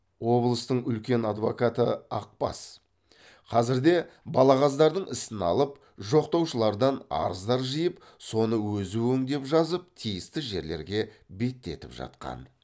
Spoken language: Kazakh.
облыстың үлкен адвокаты ақбас қазірде балағаздардың ісін алып жоқтаушылардан арыздар жиып соны өзі өңдеп жазып тиісті жерлерге беттетіп жатқан